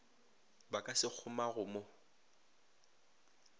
ba ka se kgomago mo